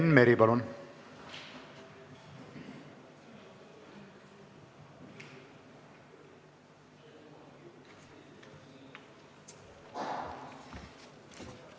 Enn Meri, palun!